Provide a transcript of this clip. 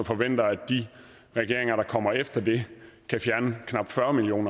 forventer at de regeringer der kommer efter det kan fjerne knap fyrre million